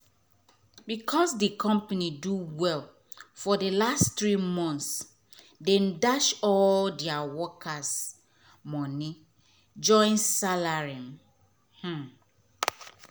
becos d company do well for d last three months dem dash all deir workes moni join salary um